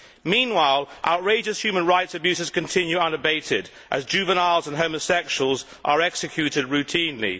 Meanwhile, outrageous human rights abuses continue unabated as juveniles and homosexuals are executed routinely.